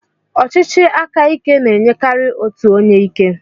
ọchịchị aka ike na-enyekarị otu onye ike.